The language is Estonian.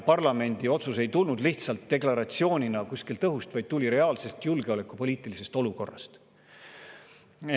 Parlamendi otsus ei tulnud lihtsalt deklaratsioonina kuskilt õhust, vaid tuli reaalsest julgeolekupoliitilisest olukorrast.